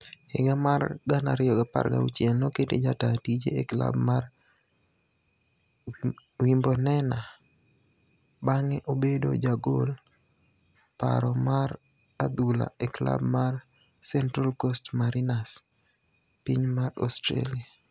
Higa mar 2016, nokete jataa tije e klab mar Wimbornena bang'e obedo jagol paro mar adhula e klab mar Central Coast mariners piny mar Australia.